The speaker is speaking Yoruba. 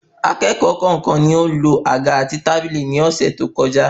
Akékòó kọọkan ni o n lo àga àti tábìlì ni ọsẹ to kọjá